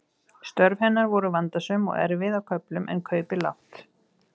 Störf hennar voru vandasöm og erfið á köflum en kaupið lágt.